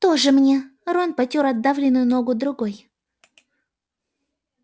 тоже мне рон потёр отдавленную ногу другой